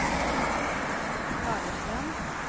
Fagerstrand